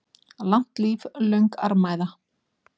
Langt líf, löng armæða.